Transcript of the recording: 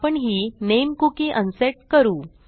आपण ही नामे कुकी अनसेट करू